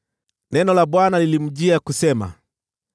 Neno la Bwana lilinijia, kusema,